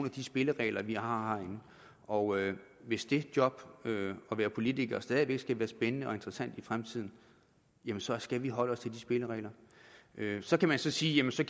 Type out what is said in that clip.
af de spilleregler vi har herinde og hvis det job at være politiker stadig væk skal være spændende og interessant i fremtiden jamen så skal vi holde os til de spilleregler så kan man sige jamen så